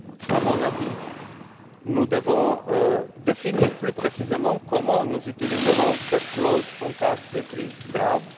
À mon avis, nous devons définir plus précisément comment nous utiliserons cette clause en cas de crise